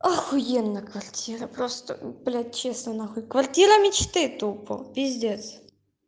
ахуенная квартира просто блядь честно нахуй квартира мечты тупо пиздец